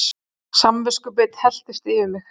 Samviskubit helltist yfir mig.